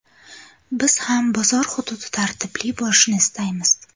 Biz ham bozor xududi tartibli bo‘lishini istaymiz.